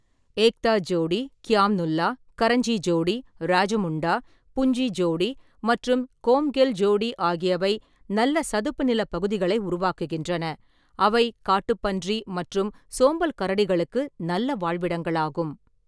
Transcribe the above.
ஏக்தா ஜோடி, க்யாம் நுல்லா, கரஞ்சி ஜோடி, ராஜமுண்டா, புஞ்சி ஜோடி மற்றும் கோம்கெல் ஜோடி ஆகியவை நல்ல சதுப்பு நிலப் பகுதிகளை உருவாக்குகின்றன, அவை காட்டுப்பன்றி மற்றும் சோம்பல் கரடிகளுக்கு நல்ல வாழ்விடங்களாகும்.